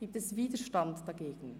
Gibt es Widerstand dagegen?